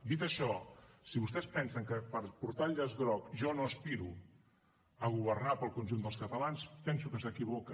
dit això si vostès pensen que per portar el llaç groc jo no aspiro a governar per al conjunt dels catalans penso que s’equivoca